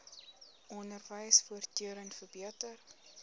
onderwys voortdurend verbeter